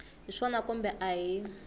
hi swona kumbe a hi